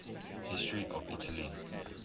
history of italy